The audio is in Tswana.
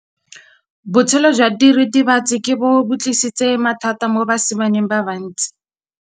Botshelo jwa diritibatsi ke bo tlisitse mathata mo basimaneng ba bantsi.